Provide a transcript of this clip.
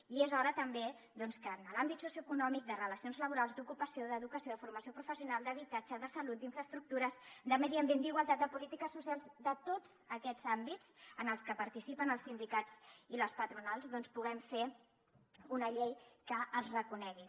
i és hora també doncs que en l’àmbit socioeconòmic de relacions laborals d’ocupació d’educació de formació professional d’habitatge de salut d’infraestructures de medi ambient d’igualtat de polítiques socials de tots aquests àmbits en els que participen els sindicats i les patronals doncs puguem fer una llei que els reconegui